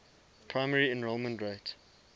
primary enrollment rate